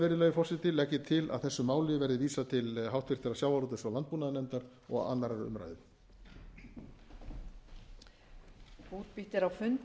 virðulegi forseti legg ég til að þessu máli verði vísað til háttvirtrar sjávarútvegs og landbúnaðarnefndar og annarrar umræðu